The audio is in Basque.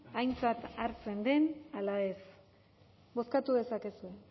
aintzat hartzen den ala ez bozkatu dezakezue